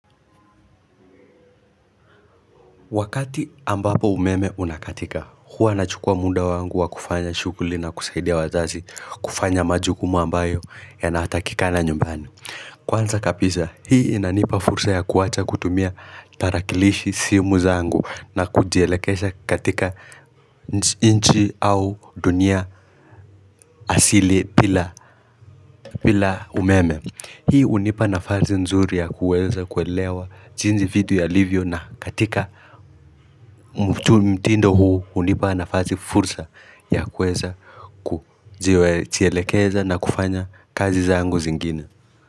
Wakati ambapo umeme unakatika huwa nachukua munda wangu wa kufanya shuguli na kusaidia wazazi kufanya majukumu ambayo yanatakikana nyumbani Kwanza kabisa hii inanipa fursa ya kuacha kutumia tarakilishi simu zangu na kujelekesha katika nchi au dunia asili bila umeme Hii unipa nafasi nzuri ya kuweza kuelewa jinsi vitu yalivyo na katika mtindo huu unipa nafasi fursa ya kuweza kujielekeza na kufanya kazi zangu zingine.